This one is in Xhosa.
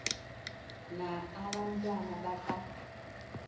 na abantwana baka